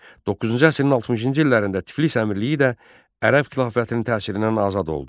9-cu əsrin 60-cı illərində Tiflis Əmirliyi də ərəb xilafətinin təsirindən azad oldu.